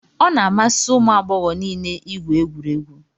Ọ na-amasị ụmụ agbọghọ niile igwụ egwuregwu